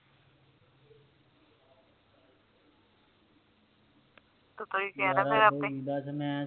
ਤੂੰ ਤਾ ਉਇ